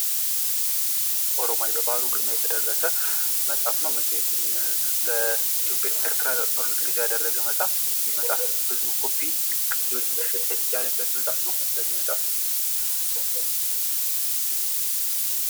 ኦሮማይ በበአሉ ግርማ የተደረሰ መጽሃፍ ነው መቼቱን በኢትዮ ኤርትራጦርነት ላይ ያደረገ መጽሃፍ ይህ መጽሃፍ ብዙ ኮፒ ቅጅዎች መሸጥ የተልቻለበት መጽሃፍ ነው።